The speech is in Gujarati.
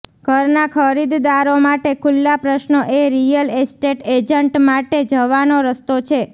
ઘરના ખરીદદારો માટે ખુલ્લા પ્રશ્નો એ રિયલ એસ્ટેટ એજન્ટ માટે જવાનો રસ્તો છે